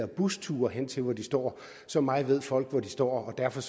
busture hen til hvor de står så meget ved folk om hvor de står og derfor